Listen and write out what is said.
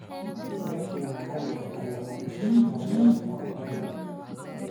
Iskaashi maxalli ah ayaa lama huraan u ah horumarka.